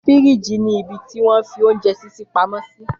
Fírííjì ni ibití wọn fi oúnjẹ ṣíṣè pamọ́ sí